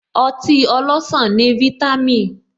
Ọtí ọlọsan ní vítámìn